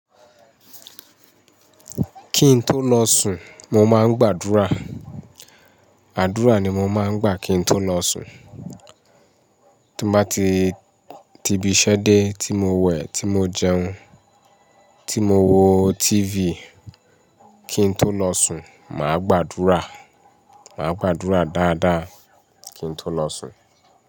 Kí n tó lọ sùn mo máa ń gbàdúrà. Àdúrà ni mo máa ń gbà kí n tó lọ sùn. Tí mo bá ti ti ibiṣẹ́ dé, tí mo wẹ̀, tí mo jẹun, tí mo wo TV, kí n tó lọ sùn, mà á gbàdúrà. Mà á gbàdúrà dáadáa kí n tó lọ sùn.